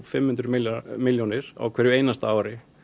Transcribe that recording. fimm hundruð milljónir milljónir á hverju einasta ári